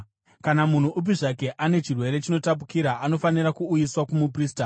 “Kana munhu upi zvake ane chirwere chinotapukira, anofanira kuuyiswa kumuprista.